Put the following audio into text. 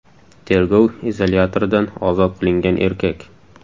Tergov izolyatoridan ozod qilingan erkak.